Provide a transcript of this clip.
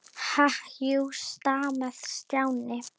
Ha- jú, jú stamaði Stjáni.